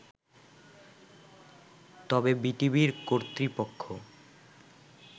তবে বিটিভির কর্তৃপক্ষ